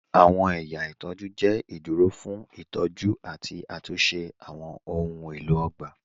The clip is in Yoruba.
Awọn ẹ̀yà itọju jẹ iduro fun itọju ati atunṣe awọn ohun elo ogba.